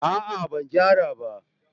a'a ban gyara ba